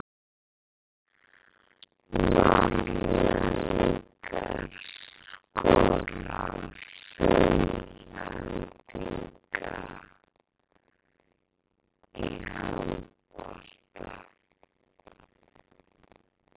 Norðlendingar skora á Sunnlendinga í handbolta.